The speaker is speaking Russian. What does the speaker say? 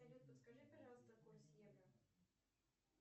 салют подскажи пожалуйста курс евро